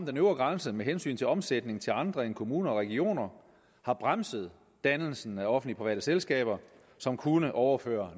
den øvre grænse med hensyn til omsætning til andre end kommuner og regioner har bremset dannelsen af offentlig private selskaber som kunne overføre